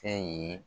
Fɛn ye